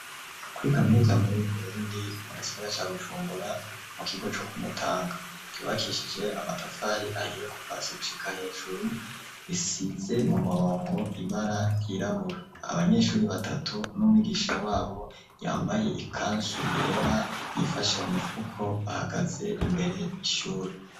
Kuri kaminuza muribiburundi mu gisigara ca gucumbura mu kigo co ku mutanka yubakishije amatafari ahiye kufasi gushika hejuru isize mu murongo ibara yirabura abanyeshuri batatu n'mw'igisha wabo yambaye i kansu yera yifashe mu mipfuko bahagaze imbere nishuri.